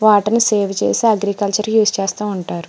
Water ని save చేసి agriculture use చేస్తా ఉంటారు.